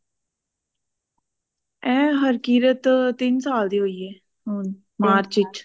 ਏਹ ਹਰਕੀਰਤ ਤਿੰਨ ਸਾਲ ਦੀ ਹੋਇ ਐ ਹੁਣ ਮਾਰਚ ਚ